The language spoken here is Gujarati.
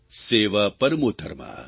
સેવા પરમો ધર્મઃ